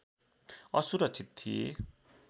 असुरक्षित थिए